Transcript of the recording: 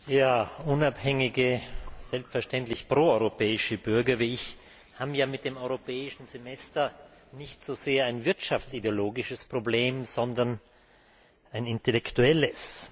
Herr Präsident! Ja, unabhängige, selbstverständlich proeuropäische Bürger wie ich haben ja mit dem Europäischen Semester nicht so sehr ein wirtschaftsideologisches Problem, sondern ein intellektuelles.